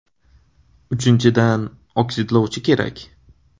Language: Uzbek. Uchinchidan, oksidlovchi kerak.